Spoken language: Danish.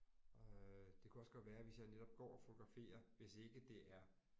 Øh det kunne også godt være hvis jeg netop går og fotograferer hvis ikke det er